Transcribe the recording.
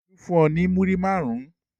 Olú fún ọ ní múrí márùn-ún?